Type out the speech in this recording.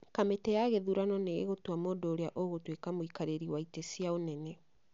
kamĩtĩ ya gĩthurano nĩ ĩgũtua mũndũ ũrĩa ũgũtuĩka mũikarĩri wa itĩ cia ũnene